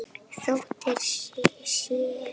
Dóttir séra